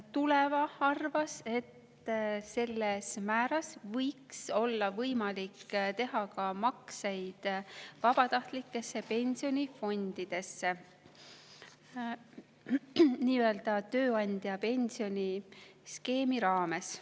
Tuleva arvas, et selles määras võiks olla võimalik teha ka makseid vabatahtlikesse pensionifondidesse tööandja pensioniskeemi raames.